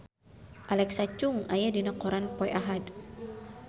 Alexa Chung aya dina koran poe Ahad